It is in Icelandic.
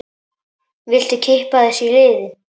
Viltu kippa þessu í liðinn?